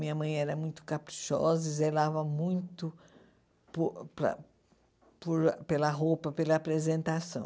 Minha mãe era muito caprichosa e zelava muito por pela por pela roupa, pela apresentação.